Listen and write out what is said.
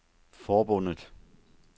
forbundet